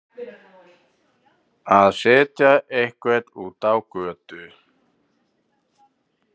Að setja einhvern út á götuna